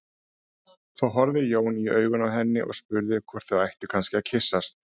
Þá horfði Jón í augun á henni og spurði hvort þau ættu kannski að kyssast.